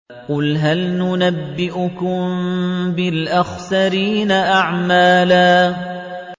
قُلْ هَلْ نُنَبِّئُكُم بِالْأَخْسَرِينَ أَعْمَالًا